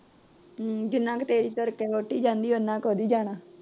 ਹਮ ਜਿੰਨਾ ਕੁ ਤੇਜ ਤੁਰ ਕੇ ਵੋਹਟੀ ਜਾਂਦੀ ।